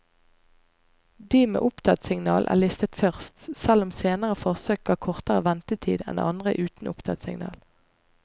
De med opptattsignal er listet først, selv om senere forsøk ga kortere ventetid enn andre uten opptattsignal.